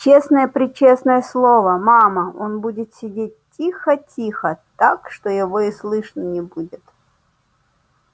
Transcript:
честное-пречестное слово мама он будет сидеть тихо-тихо так что его и слышно не будет